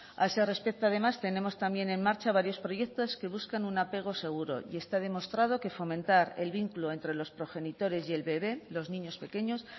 a ese respecto además tenemos también en marcha varios proyectos que buscan un apego seguro y está demostrado que fomentar el vínculo entre los progenitores y el bebe los niños pequeños